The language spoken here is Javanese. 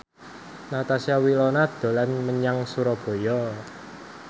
Natasha Wilona dolan menyang Surabaya